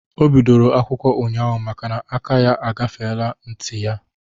Ọ bidoro akwụkwọ ụnyaahụ makana aka ya agafele n'nti ya